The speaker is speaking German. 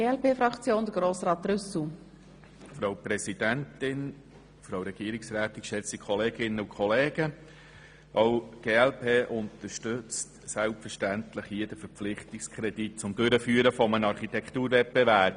Auch die glp unterstützt selbstverständlich den Verpflichtungskredit zur Durchführung eines Architekturwettbewerbs.